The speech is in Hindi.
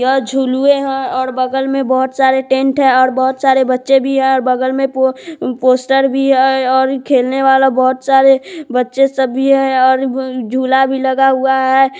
यह झुलवे है और बगल में बहुत सारा टेंट है बहुत सारे बच्चे भी है और बगल में पो अ पोस्टर भी है और खेलने वाले बहुत सारे बच्चे सब भी है और अ झूला भी लगा हुआ है।